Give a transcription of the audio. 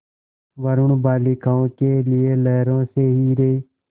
वरूण बालिकाओं के लिए लहरों से हीरे